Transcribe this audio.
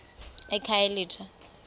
ekhayelitsha